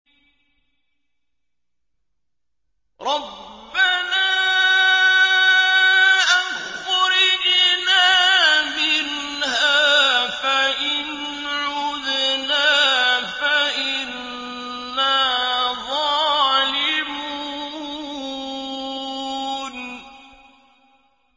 رَبَّنَا أَخْرِجْنَا مِنْهَا فَإِنْ عُدْنَا فَإِنَّا ظَالِمُونَ